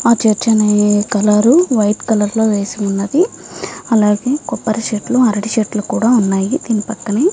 ఆ చర్చనీ colour white colour లో వేసి ఉన్నది అలాగే కొబ్బరి చెట్లు అరటి చెట్లు కూడా ఉన్నాయి దీని పక్కనే.